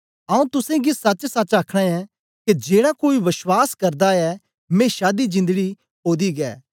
आऊँ तुसेंगी सचसच आखना ऐं के जेड़ा कोई विश्वास करदा ऐ मेशा दी जिंदड़ी ओदी गै